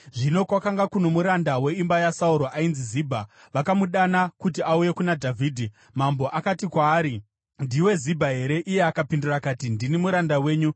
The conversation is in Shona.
Zvino kwakanga kuno muranda weimba yaSauro ainzi Zibha. Vakamudana kuti auye kuna Dhavhidhi, mambo akati kwaari, “Ndiwe Zibha here?” Iye akapindura akati, “Ndini muranda wenyu.”